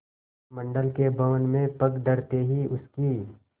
मंडल के भवन में पग धरते ही उसकी